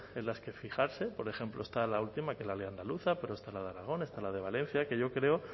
en las que fijarse por ejemplo está la última que es la ley andaluza pero está la de aragón está la de valencia que yo creo